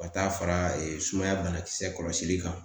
Ka taa fara ee sumaya banakisɛ kɔlɔsili kan